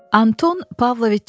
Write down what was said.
Anton Pavloviç Çexov.